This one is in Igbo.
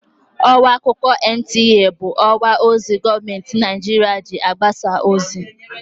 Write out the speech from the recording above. Ọwa akụkọ NTA bụ ọwa ozi gọọmentị Naịjirịa ji agbasa ozi.